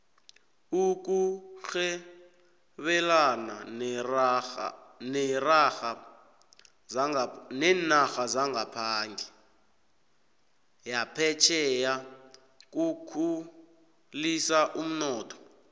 ukurhebelana nerarha zaphetjheya kukhulisa umnotho